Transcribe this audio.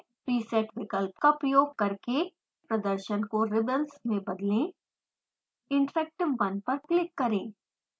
preset विकल्प का प्रयोग करके प्रदर्शन को रिबंस में बदलें interactive 1 पर क्लिक करें